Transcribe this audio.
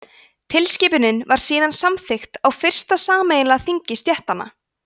tilskipunin var síðan samþykkt á fyrsta sameiginlega þingi stéttanna